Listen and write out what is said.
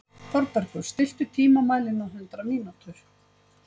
Þorbergur, stilltu tímamælinn á hundrað mínútur.